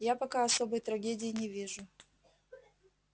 я пока особой трагедии не вижу